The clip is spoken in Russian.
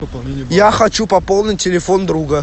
я хочу пополнить телефон друга